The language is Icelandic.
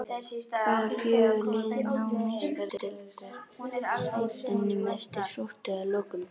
Hvaða fjögur lið ná Meistaradeildarsætunum eftirsóttu að lokum?